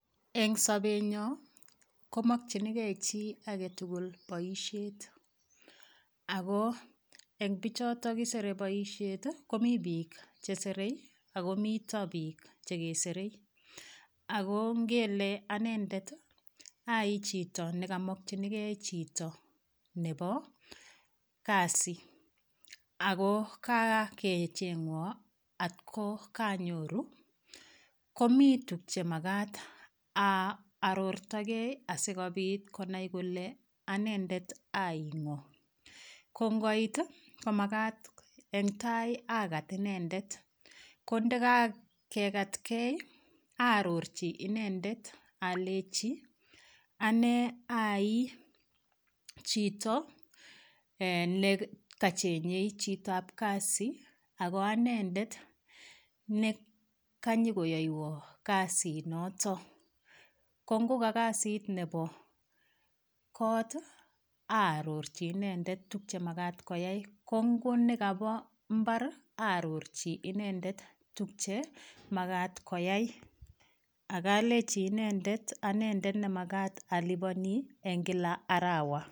Eng' sobenyo komokchinigei chi agetugul boishet ako eng' bichotok kisere boishet komi biik cheserei ako mito biik chekeserei ako ngele anendet ai chito nekamokchinigei chito nebo Kasi ako kakecheng'wo atko konyoru komi tukche makat aarortogei asikobit konai kole anendet ai ng'o kongoit komakat eng' tai akat inendet ko ndikakekatkei aarorchi inendet alechi ane ai chito nekachenyei chitoab kasi ako anendet nekanyikoyoiwo kasit noto ko ngoka kasit nebo kot aarorchi inendet tukche makat koyai ko ngonekabo mbar aarorchi inendet tukche makat koyai akalechi inendet anendet nemakat alipani eng' kila arawa